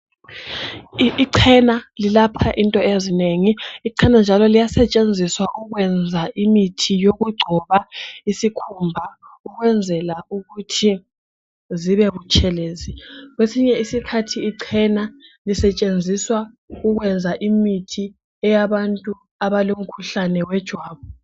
Ichena lilapha into ezinengi. Ichena njalo liyasetshenziswa ukwenza imithi yokugcoba isikhumba ukwenzela ukuthi sibe butshelezi. Kwesinye isikhathi ichena lisetshenziswa ukwenza imithi eyabantu abalomkhuhlane wetshukela.